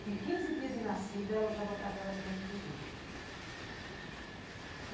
Com quinze dias de nascida, eu já botava ela dentro do rio.